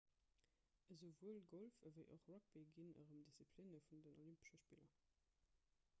esouwuel golf ewéi och rugby ginn erëm disziplinne vun den olympesche spiller